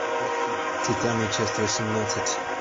титаны часть восемнадцать